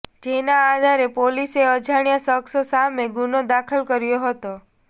જેના આધારે પોલીસે અજાણ્યા શખસ સામે ગુનો દાખલ કર્યો હતો